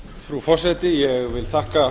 frú forseti ég vil þakka